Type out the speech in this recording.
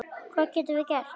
Hvað getum við gert?